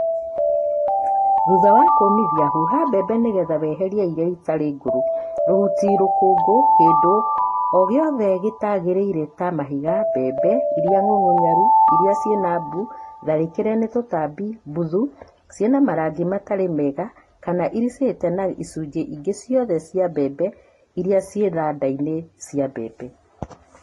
Thutha wa kũmithia huha mbembe nĩgetha weherie iria itarĩ ngũrũ, rũhuti, rũkũngũ, kĩndũ o gĩothe gĩtagĩrĩire ta mahiga, mbembe iria ng'ũng'ũnyaru, iria ciĩna mbuu, tharĩkĩre nĩ tũtambi, mbuthu, ciĩna marangi matarĩ mega kana iricĩte na icũnjĩ ĩngĩ ciothe cia mbembe iria ciĩ thanda-inĩ cia mbembe.